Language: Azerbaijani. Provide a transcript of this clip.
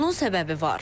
Bunun səbəbi var.